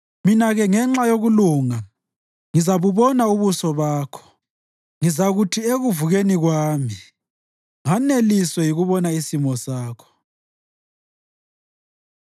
Mina-ke ngenxa yokulunga ngizabubona ubuso bakho; ngizakuthi ekuvukeni kwami nganeliswe yikubona isimo sakho.